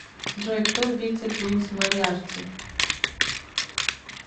джой кто убийца джеймс мориарти